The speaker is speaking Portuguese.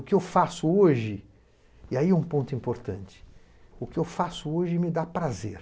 O que eu faço hoje, e aí é um ponto importante, o que eu faço hoje me dá prazer.